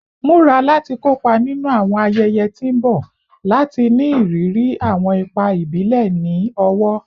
Mura lati kopa ninu awọn ayẹyẹ ti n bọ lati ni iriri awọn ipa ibile ni ọwọ